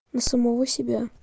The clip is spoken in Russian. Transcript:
на самого себя